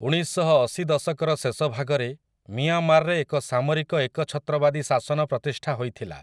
ଉଣେଇଶଶହଅଶି ଦଶକର ଶେଷଭାଗରେ ମିଆଁମାରରେ ଏକ ସାମରିକ ଏକଛତ୍ରବାଦୀ ଶାସନ ପ୍ରତିଷ୍ଠା ହୋଇଥିଲା ।